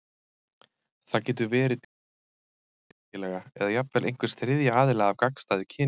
Það getur verið til vina eða vinnufélaga, eða jafnvel einhvers þriðja aðila af gagnstæðu kyni.